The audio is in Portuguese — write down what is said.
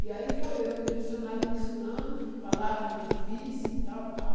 E aí foi eu e o dicionário me ensinando palavras difíceis e tal, tal.